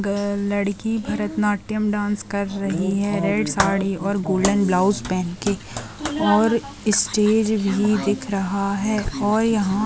girl लड़की Bharatanatyam dance कर रही है रेड साड़ी और गोल्डन ब्लाउज पेहेन के और स्टेज भी दिख रहा है और यहाँ--